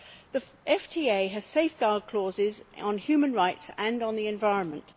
The FTA has safeguard clauses on human rights and on the environment.